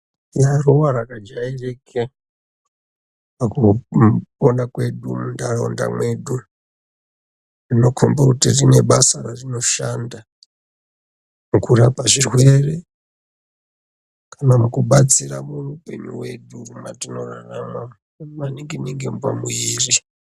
Tineruva rava jairike pakupona kwedu munharaunda mwedu rinokomba kuti rinebasa rarinoshanda kurapa zvirwere kana kubatsira muupenyu hwedu hwatinorarama maningi ningi pamuiri.